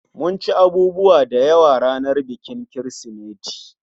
Mun ci abubuwa dayawa ranar bikin Kirsimeti